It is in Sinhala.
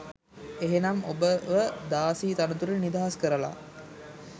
එහෙනම් ඔබව දාසි තනතුරෙන් නිදහස් කරල